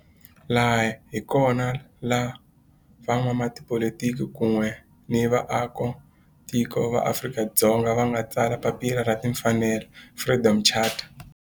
Laha hi kona la van'watipolitiki kun'we ni vaaka tiko va Afrika-Dzonga va nga tsala papila ra timfanelo, Freedom Charter.